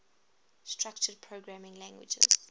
structured programming languages